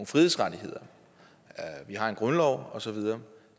frihedsrettigheder vi har en grundlov og så videre